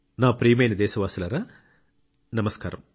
నా ప్రియమైన దేశ వాసులారా నమస్కారం